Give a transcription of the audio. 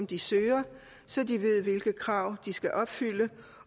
de søger så de ved hvilke krav de skal opfylde